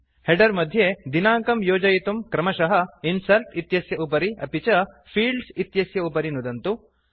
header मध्ये दिनाङ्कं योजयितुं क्रमशः इन्सर्ट् इत्यस्य उपरि अपि च फील्ड्स् इत्यस्य उपरि नुदन्तु